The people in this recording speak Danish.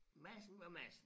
Madsen var Madsen